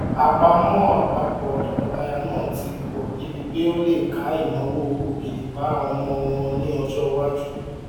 àpamọ àpapọ tọkọtaya náà ti pọ débi pé ó lè ká ináwó ògìrìpá ọmọ wọn ní ọjọ iwájú